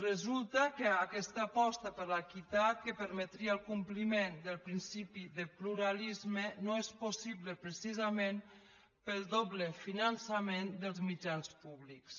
resulta que aquesta aposta per l’equitat que permetria el compliment del principi de pluralisme no és possible precisament pel doble finançament dels mitjans públics